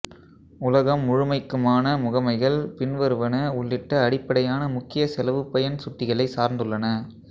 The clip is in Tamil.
உலகம் முழுமைக்குமான முகமைகள் பின்வருவன உள்ளிட்ட அடிப்படையான முக்கிய செலவுபயன் சுட்டிகளைச் சார்ந்துள்ளன